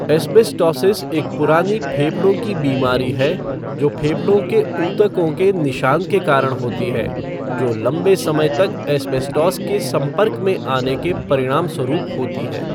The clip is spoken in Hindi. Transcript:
एस्बेस्टोसिस एक पुरानी फेफड़ों की बीमारी है जो फेफड़ों के ऊतकों के निशान के कारण होती है, जो लंबे समय तक एस्बेस्टोस के संपर्क में आने के परिणामस्वरूप होती है।